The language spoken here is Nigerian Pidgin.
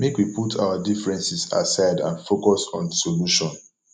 make we put our differences aside and focus on solution